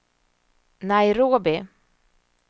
Nairobi